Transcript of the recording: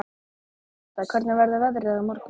Ásta, hvernig verður veðrið á morgun?